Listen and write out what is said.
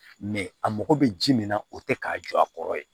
a mago bɛ ji min na o tɛ k'a jɔ a kɔrɔ ye